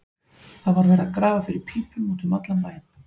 Það var verið að grafa fyrir pípum út um allan bæ.